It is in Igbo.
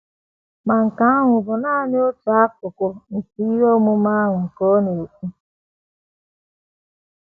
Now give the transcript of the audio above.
“ Ma nke ahụ bụ nanị otu akụkụ nke ihe omume ahụ, ” ka ọ na - ekwu.